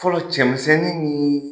Fɔlɔ cɛmisɛnnin nii